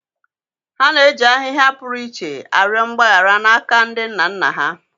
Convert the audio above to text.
. Ha na-eji ahịhịa pụrụ iche arịọ mgbaghara n’aka ndị nna nna ha.